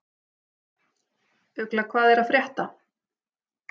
Ugla, hvað er að frétta?